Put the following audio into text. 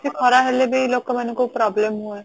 ବେଶି ଖରା ହେଲେ ବି ଲୋକମାନଙ୍କୁ problem ହୁଏ